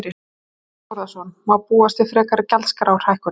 Þorbjörn Þórðarson: Má búast við frekari gjaldskrárhækkun?